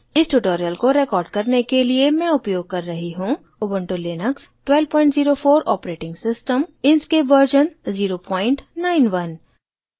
इस tutorial को record करने के लिए मैं उपयोग कर रही हूँ